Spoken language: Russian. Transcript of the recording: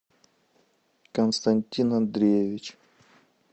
константин андреевич